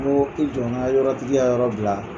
N ko i jɔ n ka yɔrɔ tigi ka yɔrɔ bila